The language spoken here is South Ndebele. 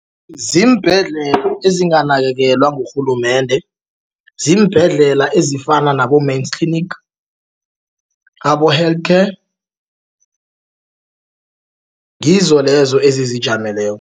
Ziimbhedlela ezinganakekelwa ngurhulumende ziimbhedlela ezifana nabo-Mediclinic abo-Healthcare ngizo lezo ezizijameleko.